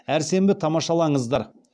әр сенбі тамашалаңыздар